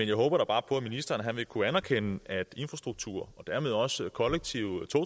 jeg håber da bare på at ministeren vil kunne anerkende at infrastruktur og dermed også kollektiv